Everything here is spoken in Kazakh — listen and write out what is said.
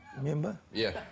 мен бе иә